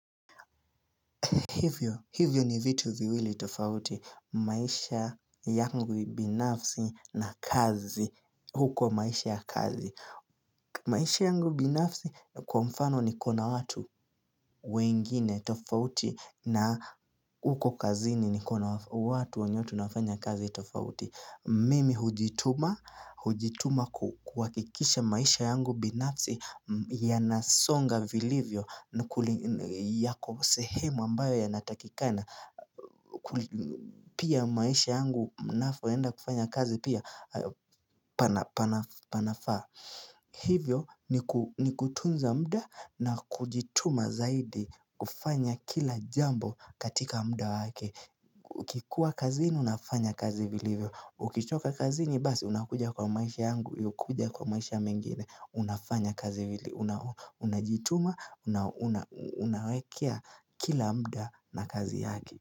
Hivyo ni vitu viwili tofauti, maisha yangu binafsi na kazi, huko maisha ya kazi. Maisha yangu binafsi kwa mfano niko na watu wengine tofauti na huko kazini ni kona watu wenye tunafanya kazi tofauti. Mimi hujituma hujituma kuhakikisha maisha yangu binafsi yanasonga vilivyo yako sehemu ambayo yanatakikana Pia maisha yangu mnapoenda kufanya kazi pia panafaa Hivyo ni kutunza muda na kujituma zaidi kufanya kila jambo katika muda wake Ukikuwa kazini unafanya kazi vilivyo Ukichoka kazini basi unakuja kwa maisha yangu uliokuja kwa maisha mengine Unafanya kazi hili Unajituma Unawekea kila muda na kazi yake.